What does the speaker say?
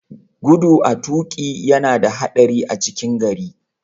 Gudu a toƙi yana da haɗari a cikin gari.